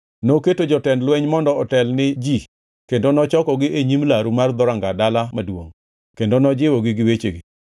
Noketo jotend lweny mondo otel ne ji kendo nochokogi e nyime e laru mar dhoranga dala maduongʼ kendo nojiwogi gi wechegi: